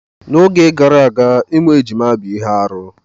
N'oge gara aga ịmụ ejima bụ ihe arụ.